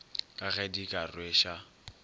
ka ge di ka rweša